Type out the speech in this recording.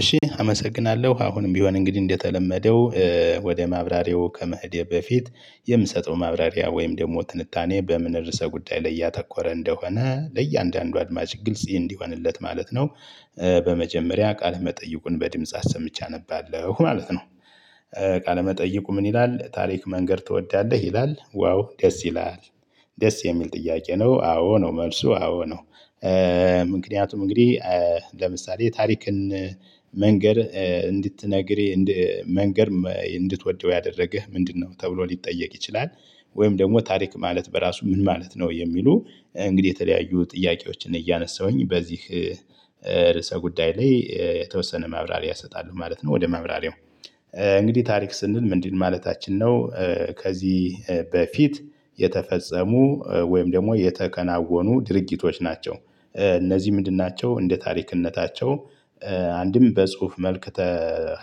እሺ አመሰግናለሁ አሁንም ቢሆን እንግዲህ እንደተለመደው ወደ ማብራሪያው ከመሄዴ በፊት የምሰጠው ማብራሪያ ወይም ደግሞ ትንታኔ በምን ርዕሰ ጉዳይ ላይ ያተኮረ እንደሆነ ለእያንዳንዱ አድማጭ ግልጽ እንዲሆንለት ማለት ነው። በመጀመሪያ ቃለ መጠይቁን በድምጽ አሰምቼ አነባለሁ ማለት ነው። ቃለ መጠይቁ ምን ይላል ታሪክ መንገር ትወዳለህ ይላል? ዋው ደስ ይላል። ደስ የሚል ጥያቄ ነው። አዎ ነው መልሱ አዎ ነው። ምክንያቱም እንግዲህ ለምሳሌ የታሪክን መንገድ እንድትነግር መንገር እንድትወደው ያደረገህ ምንድነው ተብሎ ሊጠየቅ ይችላል። ወይም ደግሞ ታሪክ ማለት በራሱ ምን ማለት ነው? የሚሉ እንግዲህ የተለያዩ ጥያቄዎችን እያነሳሁኝ በዚህ ርዕሰ ጉዳይ ላይ የተወሰነ ማብራሪያ እሰጣለሁ ማለት ነው። ወደ ማብራሪያው እንግዲህ ታሪክ ስንል ምንድን ማለታችን ነው? ከዚህ በፊት የተፈጸሙ ወይም ደግሞ የተከናወኑ ድርጊቶች ናቸው። እነዚህ ምንድን ናቸው? እንደ ታሪክነታቸው አንድም በጽሁፍ መልክ